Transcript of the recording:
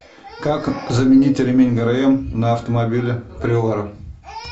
как заменить ремень грм на автомобиле приора